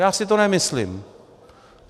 Já si to nemyslím.